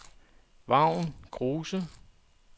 Vagn Kruse